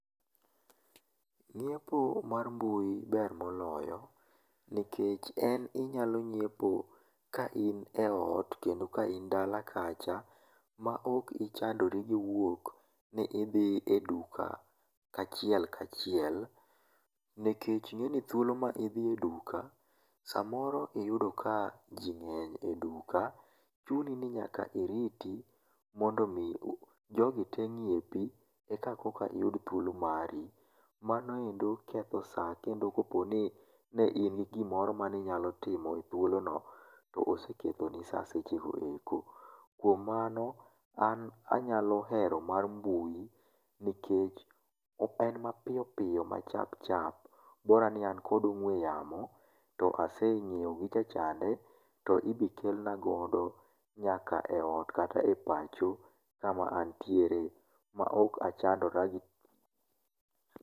nyiepo mar mbui ber moloyo nikech en inyalo nyiepo ka in e ot kendo ka in dala kacha ma ok ichndori gi wuok ni idhi e duka kachiel kachiel ,nikech inegni thuolo ma dhi e duka, samoro iyudo ka ji ng'eny e duka, chuni ni nyaka iriti mondo mi jogi tee nyiepi eka iyud thuolo mari, mano endo ketho saa kendo koponi ne in gimoro mane inyalo timo e thuolono to oseketho ni saa seche go eko, kuom mano an anyalo hero mar mbui nikech en mapiyopiyo ma chapchap bora ni an kod ong'ue yamo to asenyiewo gicha chande ,to ibiro kelna godo nyaka e ot kata e pacho kama antiere ma ok achandora gi..